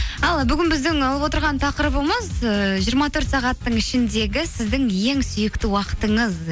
ал бүгін біздің алып отырған тақырыбымыз ііі жиырма төрт сағаттың ішіндегі сіздің ең сүйікті уақытыңыз